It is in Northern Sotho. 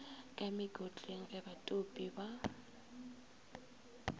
ka mekotleng ge batopi ba